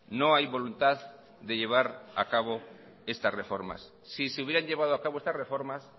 no hay voluntad de llevar a cabo estas reformas si se hubieran llevado a cabo estas reformas